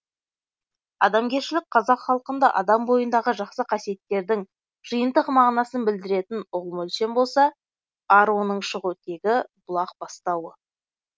адамгершілік қазақ халқында адам бойындағы жақсы қасиеттердің жиынтық мағынасын білдіретін ұғым өлшем болса ар оның шығу тегі бұлақ бастауы